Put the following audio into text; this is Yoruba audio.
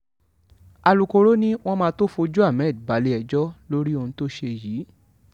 alūkkóró ni àwọn máa tóó fojú ahmed balẹ̀-ẹjọ́ lórí ohun tó ṣe yìí